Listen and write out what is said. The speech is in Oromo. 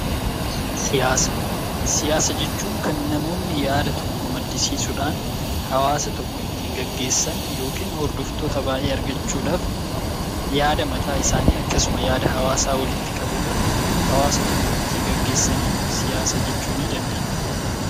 Siyaasa jechuun kan namoonni yaada tokko maddisiisuudhaan hawwaasa tokko ittiin gaggeessan yookaan hordoftoota baay'ee argachuudhaaf yaada mataa isaanii akkasumas yaada hawaasaa walitti qabuudhaan hawaasa tokko ittiin gaggeessaniin siyaasa jechuu dandeenya.